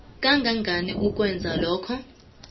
kangangani ukwenza lokho